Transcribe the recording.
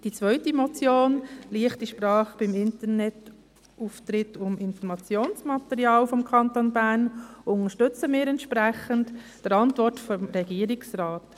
Die zweite Motion, «Leichte Sprache beim Internetauftritt und im Informationsmaterial des Kantons Bern» , unterstützen wir entsprechend der Antwort des Regierungsrates.